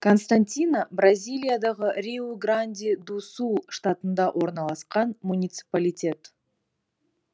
константина бразилиядағы риу гранди ду сул штатында орналасқан муниципалитет